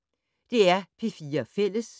DR P4 Fælles